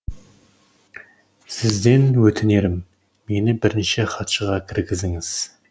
сізден өтінерім мені бірінші хатшыға кіргізіңіз